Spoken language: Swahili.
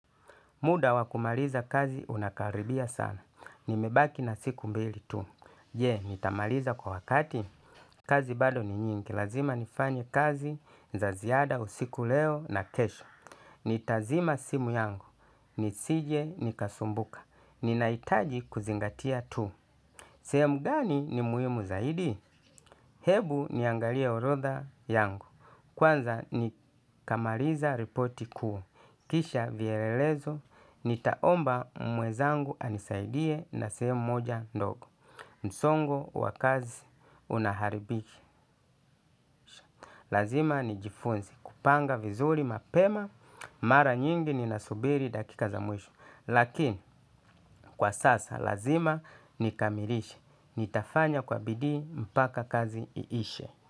Muda wa kumaliza kazi unakaribia sana. Nimebaki na siku mbili tu. Je nitamaliza kwa wakati. Kazi bado ni nyingi. Lazima nifanye kazi za ziada usiku leo na kesho. Nitazima simu yangu. Nisije nikasumbuka. Ninahitaji kuzingatia tu. Sehemu gani ni muhimu zaidi? Hebu niangalia orodha yangu. Kwanza nikamaliza repoti kuu. Kisha vyelelezo. Nitaomba mwezangu anisaidie na sehemu moja ndogo msongo wa kazi unaharibiki. Lazima nijifunze kupanga vizuri mapema. Mara nyingi ninasubiri dakika za mwisho lakini kwa sasa lazima nikamilishe. Nitafanya kwa bidii mpaka kazi iishe.